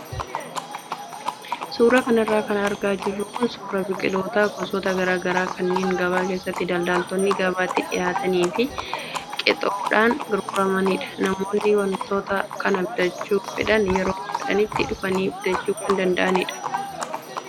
Suuraa kanarra kan argaa jirru kun suuraa biqiloota gosoota garaagaraa kanneen gabaa keessatti daldaltootaan gabaatti dhiyaatanii fi qexoodhaan gurguramanidha. Namoonni wantoota kana bitachuu fedhan yeroo fedhanitti dhufanii bitachuu kan danda'anidha.